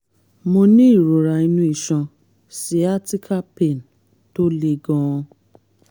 mo ní ìrora inú iṣan (siatica pain) tó le gan-an